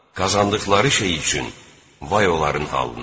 Qazandıqları şey üçün vay onların halına.